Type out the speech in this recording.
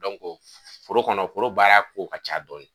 foro kɔnɔ foro baara kow ka ca dɔɔni.